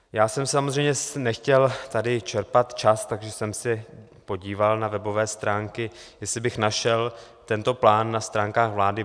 Já jsem samozřejmě nechtěl tady čerpat čas, takže jsem se podíval na webové stránky, jestli bych našel tento plán na stránkách vlády.